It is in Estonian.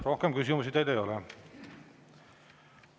Rohkem küsimusi teile ei ole.